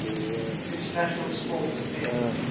international sports events